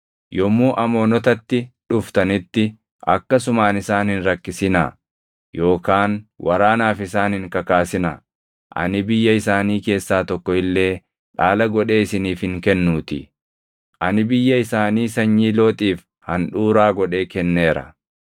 Yommuu Amoonotatti dhuftanitti akkasumaan isaan hin rakkisinaa yookaan waraanaaf isaan hin kakaasinaa; ani biyya isaanii keessaa tokko illee dhaala godhee isiniif hin kennuutii. Ani biyya isaanii sanyii Looxiif handhuuraa godhee kenneera.”